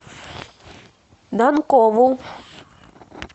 данкову